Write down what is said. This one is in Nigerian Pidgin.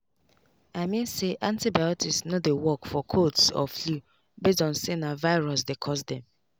i mean say antibiotics no dey work for colds or flu base on say na virus dey cause dem.